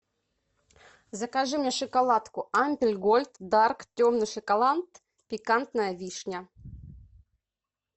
закажи мне шоколадку альпен гольд дарк темный шоколад пикантная вишня